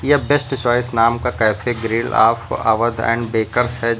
The best choice नाम का cafe grill आप अवध एंड बेकर्स है।